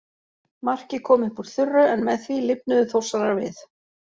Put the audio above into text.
Markið kom upp úr þurru en með því lifnuðu Þórsarar við.